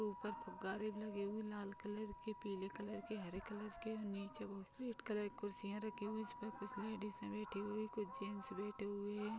ऊपर गुब्बारे लगे हुए लाल कलर के पीले कलर के हरे कलर के नीचे बहुत रेड कलर की कुर्सियाँ रखी हुई है इसमें कुछ लेडीजे बैठी हुई है कुछ जैंट्स बैठे हुए हैं।